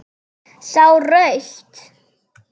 Sá rautt.